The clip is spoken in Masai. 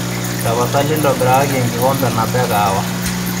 tapasali intobirakaki enkikombe nabo ee kahawa